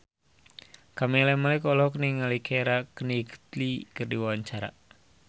Camelia Malik olohok ningali Keira Knightley keur diwawancara